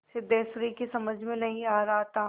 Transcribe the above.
सिद्धेश्वरी की समझ में नहीं आ रहा था